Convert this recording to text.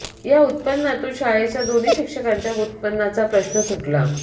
या उत्पनातून शाळेचा दोन्ही शिक्षकांच्या उत्पन्नाचा प्रश्न सुटला